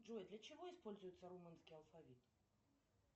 джой для чего используется румынский алфавит